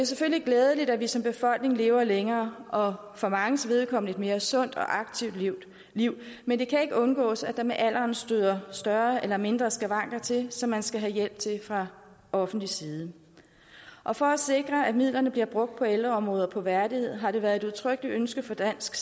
selvfølgelig glædeligt at vi som befolkning lever længere og for manges vedkommende lever et mere sundt og aktivt liv liv men det kan ikke undgås at der med alderen støder større eller mindre skavanker til som man skal have hjælp til fra offentlig side og for at sikre at midlerne bliver brugt på ældreområdet og på værdighed har det været et udtrykkeligt ønske fra dansk